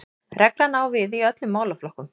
Reglan á við í öllum málaflokkum